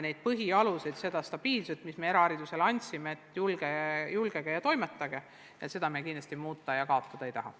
Ent seda stabiilset alust, mis me eraharidusele andsime, et julgege ja toimetage, seda me kindlasti muuta ja kaotada ei taha.